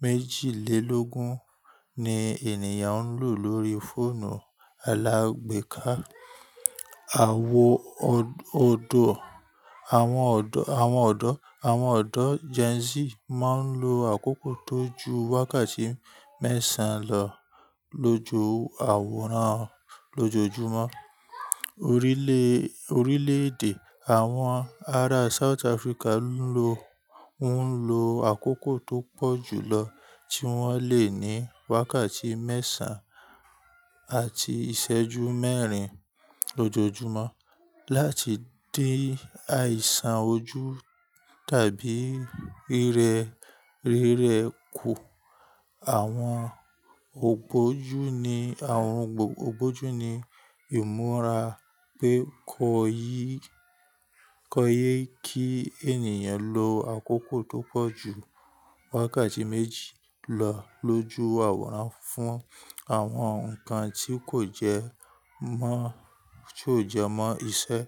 méjìlélógún ni ènìyàn ń lò lórí fóònù alágbèéká. Àwọn ọ̀dọ́ Gen Z máa ń lo àkókò tó ju wákàtí mẹ́sàn-án lọ lójú àwòrán lójoojúmọ́. Orílẹ̀èdè àwọn ará South Africa ń lo àkókò tó pọ̀ jùlọ tí wọ́n lè ní wákàtí mẹ́sàn-án àti ìṣẹ́jú mẹ́rin lójoojúmọ́ láti dé àìsàn ojú tàbí rírẹ kù. Àwọn ògbójú ní ìmúra pé kò yẹ kí ènìyàn lo àkókò tó pọ̀ ju wákàtí méjì lọ lójú àwòrán fún àwọn nǹkan tí kò jẹmọ́ iṣẹ́.